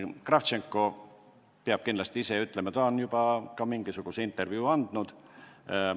Kravtšenko peab seda kindlasti ise ütlema, ta on juba mingisuguse intervjuu ka andnud.